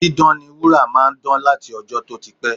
Dídán ni wúrà máa ń dán láti ọjọ́ tó ti pẹ́